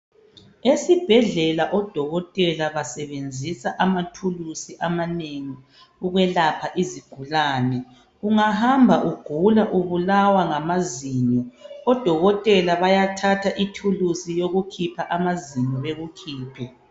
Esibhedlela odokotela basebenzisa amathulusi amanengi ukwelapha izigulane. Ungahamba ugula ubulawa ngamazinyo .Odokotela bayathatha ithulusi yokukhipha amazinyo bekukhiphe.